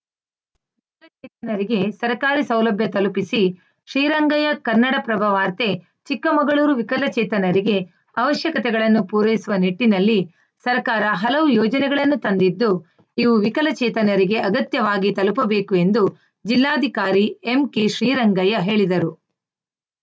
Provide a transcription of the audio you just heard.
ವಿಕಲಚೇತನರಿಗೆ ಸರ್ಕಾರಿ ಸೌಲಭ್ಯ ತಲುಪಿಸಿ ಶ್ರೀರಂಗಯ್ಯ ಕನ್ನಡಪ್ರಭ ವಾರ್ತೆ ಚಿಕ್ಕಮಗಳೂರು ವಿಕಲಚೇತನರಿಗೆ ಅವಶ್ಯಕತೆಗಳನ್ನು ಪೂರೈಸುವ ನಿಟ್ಟಿನಲ್ಲಿ ಸರ್ಕಾರ ಹಲವು ಯೋಜನೆಗಳನ್ನು ತಂದಿದ್ದು ಇವು ವಿಕಲಚೇತನರಿಗೆ ಅಗತ್ಯವಾಗಿ ತಲುಪಬೇಕು ಎಂದು ಜಿಲ್ಲಾಧಿಕಾರಿ ಎಂಕೆ ಶ್ರೀರಂಗಯ್ಯ ಹೇಳಿದರು